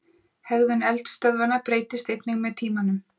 Hegðun eldstöðvanna breytist einnig með tíma.